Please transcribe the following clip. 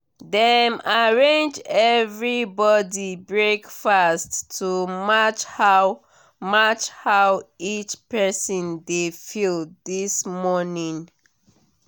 dem arrange everybody breakfast to match how match how each person dey feel this morning.